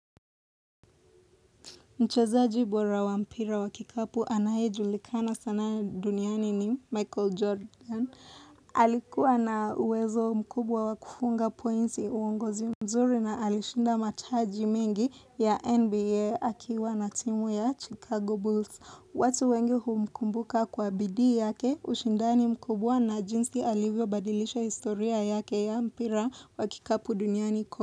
Mchezaji bora wa mpira wa kikapu anayejulikana sana duniani ni Michael Jordan. Alikuwa na uwezo mkubwa wa kufunga pointi uongozi mzuri na alishinda mataji mengi ya NBA akiwa na timu ya Chicago Bulls. Watu wengi humkumbuka kwa bidii yake ushindani mkubwa na jinsi alivyobadilisha historia yake ya mpira wa kikapu duniani.